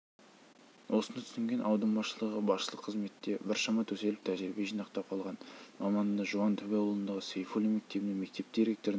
осыны түсінген аудан басшылығы басшылық қызметте біршама төселіп тәжірибе жинақтап қалған маманды жуантөбе ауылындағы сейфуллин мектебіне мектеп директорының